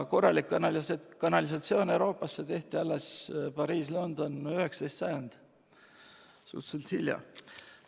Korralik kanalisatsioon tehti Euroopasse – Pariisi ja Londonisse – alles 19. sajandil, suhteliselt hilja.